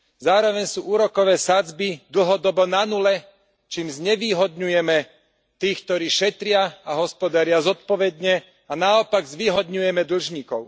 Zároveň sú úrokové sadzby dlhodobo na nule, čím znevýhodňujeme tých, ktorí šetria a hospodária zodpovedne a naopak zvýhodňujeme dlžníkov.